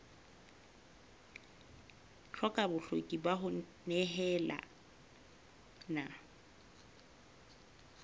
hloka bokgoni ba ho nehelana